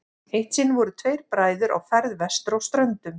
eitt sinn voru tveir bræður á ferð vestur á ströndum